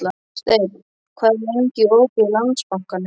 Steinn, hvað er lengi opið í Landsbankanum?